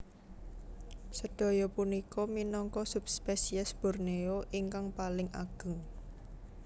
Sedaya punika minangka subspesies Borneo ingkang paling ageng